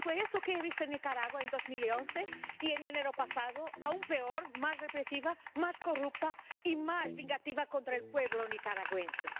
Y fue eso lo que vi en Nicaragua en 2011, y en enero pasado aún peor más represiva, más corrupta y más vengativa contra el pueblo nicaragüense.